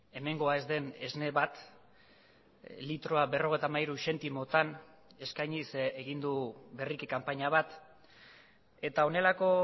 hemengoa ez den esne bat litroa berrogeita hamairu zentimotan eskainiz egin du berriki kanpaina bat eta honelako